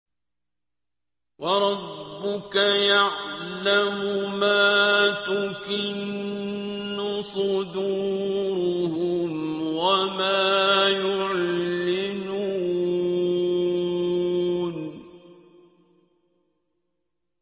وَرَبُّكَ يَعْلَمُ مَا تُكِنُّ صُدُورُهُمْ وَمَا يُعْلِنُونَ